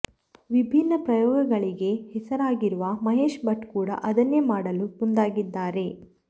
ವಿಭಿನ್ನ ಪ್ರಯೋಗಗಳಿಗೆ ಹೆಸರಾಗಿರುವ ಮಹೇಶ್ ಭಟ್ ಕೂಡ ಅದನ್ನೇ ಮಾಡಲು ಮುಂದಾಗಿದ್ದಾರೆ